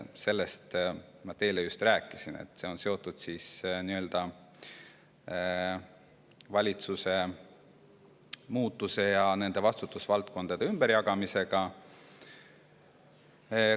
Sellest ma teile juba rääkisin, et see on seotud valitsuse vahetumise ja vastutusvaldkondade ümberjagamisega.